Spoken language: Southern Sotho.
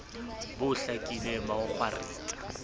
bo hlakileng ba ho kgwaritsa